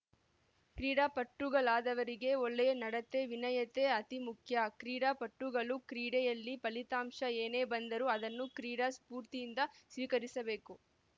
ಕ್ರೀಡಾಪಟುಗಳಾದವರಿಗೆ ಒಳ್ಳೆಯ ನಡತೆ ವಿನಯತೆ ಅತೀ ಮುಖ್ಯ ಕ್ರೀಡಾಪಟುಗಳು ಕ್ರೀಡೆಯಲ್ಲಿ ಫಲಿತಾಂಶ ಏನೇ ಬಂದರೂ ಅದನ್ನು ಕ್ರೀಡಾ ಸ್ಫೂರ್ತಿಯಿಂದ ಸ್ವೀಕರಿಸಬೇಕು